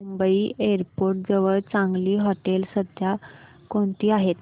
Mumbai airport जवळ चांगली हॉटेलं सध्या कोणती आहेत